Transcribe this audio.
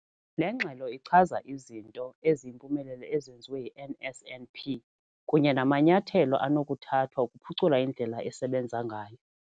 Le ngxelo ichaza izinto eziyimpumelelo ezenziwe yi-NSNP kunye namanyathelo anokuthathwa ukuphucula indlela esebenza ngayo.